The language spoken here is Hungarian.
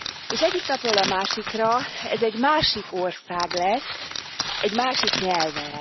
És egyik napról a másikra ez egy másik ország lesz, egy másik nyelvvel.